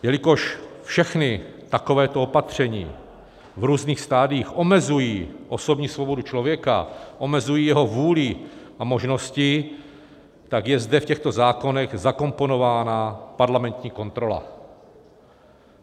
Jelikož všechna takováto opatření v různých stadiích omezují osobní svobodu člověka, omezují jeho vůli a možnosti, tak je zde v těchto zákonech zakomponována parlamentní kontrola.